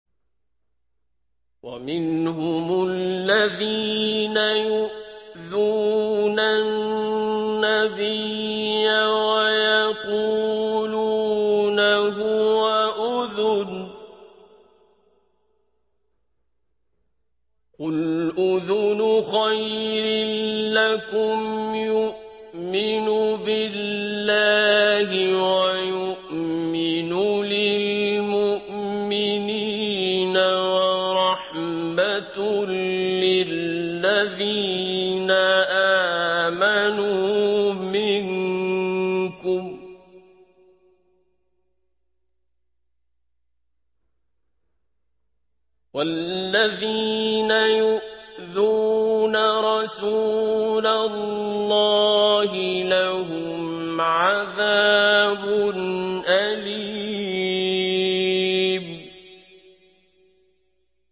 وَمِنْهُمُ الَّذِينَ يُؤْذُونَ النَّبِيَّ وَيَقُولُونَ هُوَ أُذُنٌ ۚ قُلْ أُذُنُ خَيْرٍ لَّكُمْ يُؤْمِنُ بِاللَّهِ وَيُؤْمِنُ لِلْمُؤْمِنِينَ وَرَحْمَةٌ لِّلَّذِينَ آمَنُوا مِنكُمْ ۚ وَالَّذِينَ يُؤْذُونَ رَسُولَ اللَّهِ لَهُمْ عَذَابٌ أَلِيمٌ